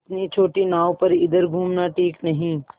इतनी छोटी नाव पर इधर घूमना ठीक नहीं